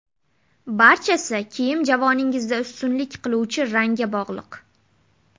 Barchasi kiyim javoningizda ustunlik qiluvchi rangga bog‘liq.